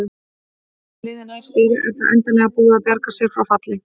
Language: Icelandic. Ef annað liðið nær sigri er það endanlega búið að bjarga sér frá falli.